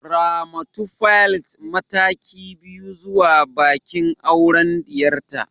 Ramatu plaite mataki biyu zuwa bikin auren diyarta